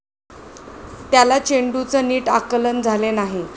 त्याला चेंडूचं नीट आकलन झाले नाही.